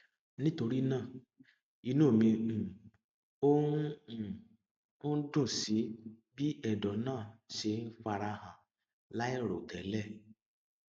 nítorí náà inú mi um ò um dùn sí bí ẹdọ náà ṣe ń fara hàn láìròtélẹ